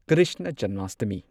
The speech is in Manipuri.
ꯀ꯭ꯔꯤꯁꯅ ꯖꯟꯃꯥꯁꯇꯃꯤ